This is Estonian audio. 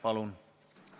Palun!